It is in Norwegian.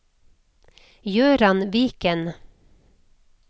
Gøran Viken